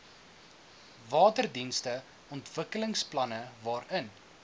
waterdienste ontwikkelingsplanne waarin